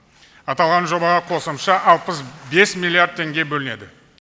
аталған жобаға қосымша алпыс бес миллиард теңге бөлінеді